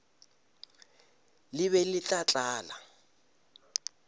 le be le tla tlala